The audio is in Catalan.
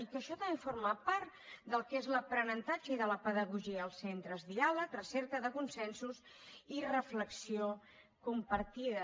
i que això també forma part del que és l’aprenentatge i la pedagogia als centres diàleg recerca de consensos i reflexió compartida